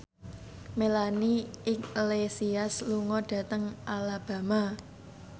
Melanie Iglesias lunga dhateng Alabama